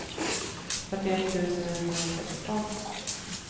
fyrtioett tusen etthundrasexton